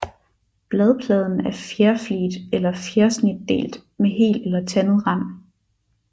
Bladpladen er fjerfliget eller fjersnitdelt med hel eller tandet rand